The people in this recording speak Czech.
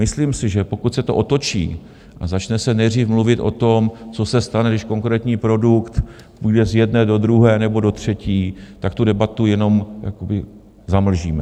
Myslím si, že pokud se to otočí a začne se nejdřív mluvit o tom, co se stane, když konkrétní produkt půjde z jedné do druhé nebo do třetí, tak tu debatu jenom zamlžíme.